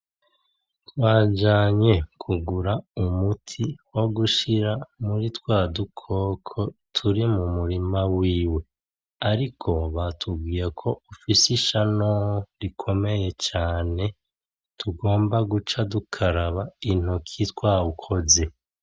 Twajanye kugura umuti wo gushira muri twa dukoko turi mu murima wiwe. Ariko batubwiye ko ufise ishano rikomeye cane tugomba duca dukaraba intoki twawukozeko.